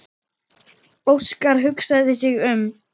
Óskar hugsaði sig um.